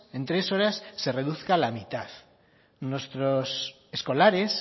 en tres horas se reduzca a la mitad nuestros escolares